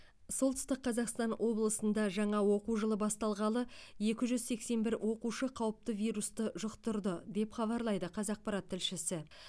солтүстік қазақстан облысында жаңа оқу жылы басталғалы екі жүз сексен бір оқушы қауіпті вирусты жұқтырды деп хабарлайды қазақпарат тілшісі